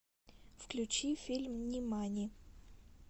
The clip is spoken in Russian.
включи фильм нимани